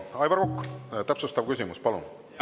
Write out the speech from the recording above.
Aivar Kokk, täpsustav küsimus, palun!